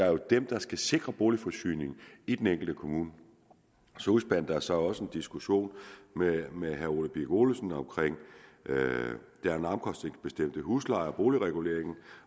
er dem der skal sikre boligforsyningen i den enkelte kommune så udspandt der sig også en diskussion med med herre ole birk olesen om den omkostningsbestemte husleje og boligreguleringen